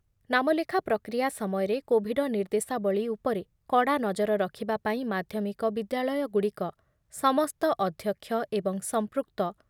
ନାମଲେଖା ପ୍ରକ୍ରିୟା ସମୟରେ କୋଭିଡ ନିର୍ଦ୍ଦେଶାବଳୀ ଉପରେ କଡ଼ା ନଜର ରଖିବା ପାଇଁ ମାଧ୍ୟମିକ ବିଦ୍ୟାଳୟଗୁଡ଼ିକ ସମସ୍ତ ଅଧ୍ୟକ୍ଷ ଏବଂ ସମ୍ପୃକ୍ତ